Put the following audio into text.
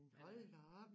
Men hold da op